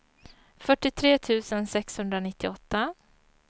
fyrtiotre tusen sexhundranittioåtta